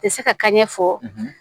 Tɛ se ka kɛ ɲɛfɔ